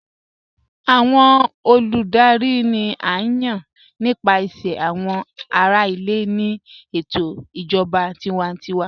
Awọn olùdárì ni à yán nípasẹ̀ awọn ará ilẹ̀ ní ètò ìjọba tìwàntíwà.